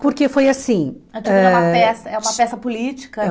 Porque foi assim ãh... Antígona é uma peça é uma peça política,